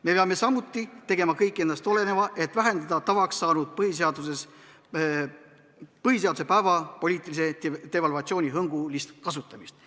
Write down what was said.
Me peame samuti tegema kõik endast oleneva, et vähendada tavaks saanud põhiseaduse päevapoliitilist devalvatsioonihõngulist kasutamist.